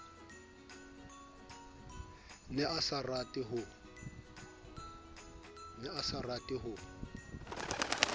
ne a sa rate ho